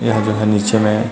यहाँ जो है नीचे में--